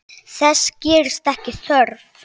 Þess gerist ekki þörf.